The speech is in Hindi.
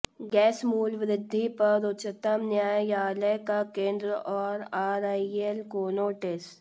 गैस मूल्य वृद्धि पर उच्चतम न्यायालय का केंद्र और आरआईएल को नोटिस